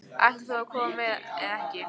Ætlar þú að koma eða ekki?